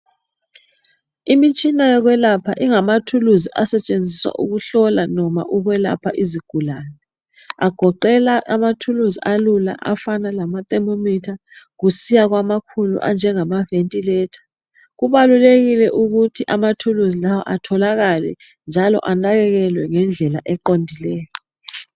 Imitshina yokwelapha ingamathuluzi asetshenziswa ukuhlola noma ukwelapha izigulane. Agoqela amathuluzi alula afana lama themometer kusiya kwamakhulu anjengama ventilator. Kubalulekile ukuthi amathuluzi lawa atholakale njalo anakenelwe ngendlela eqondileyo.